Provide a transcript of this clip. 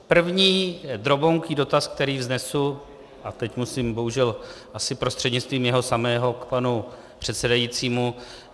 První drobounký dotaz, který vznesu - a teď musím bohužel asi prostřednictvím jeho samého k panu předsedajícímu.